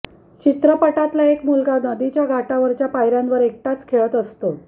चित्रपटातला एक मुलगा नदीच्या घाटावरच्या पायर्यांवर एकटाच खेळत असतो